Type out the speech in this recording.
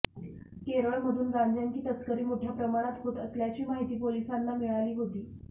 केरळमधून गांजाची तस्करी मोठ्या प्रमाणात होत असल्याची माहिती पोलिसांना मिळाली होती